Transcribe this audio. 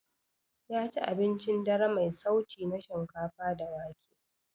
Yaci abincin dare mai sauti na shinkafa da wake.